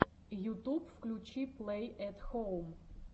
ютуб включи плэй эт хоум